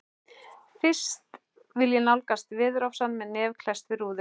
Fyrst vil ég nálgast veðurofsann með nef klesst við rúðu.